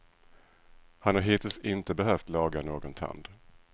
Han har hittills inte behövt laga någon tand.